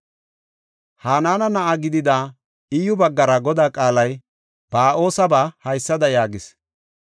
Hanaana na7aa gidida, Iyyu baggara Godaa qaalay Ba7oosaba haysada yaagis;